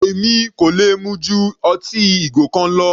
Èmi kò lè mu ju ọtí ìgò kan lọ.